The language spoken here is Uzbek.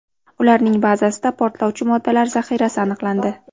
Ularning bazasida portlovchi moddalar zaxirasi aniqlandi.